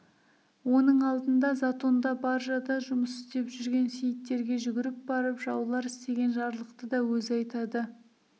оның алдында затонда баржада жұмыс істеп жүрген сейіттерге жүгіріп барып жаулар істеген жарлықты да өзі айтады